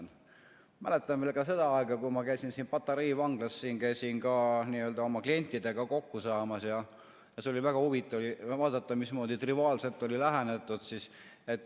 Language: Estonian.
Ma mäletan seda aega, kui ma käisin Patarei vanglas oma klientidega kokku saamas ja väga huvitav oli vaadata, mismoodi triviaalselt oli lähenetud.